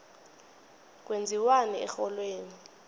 kwenziwani erholweni